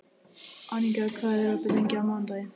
Aníka, hvað er opið lengi á mánudaginn?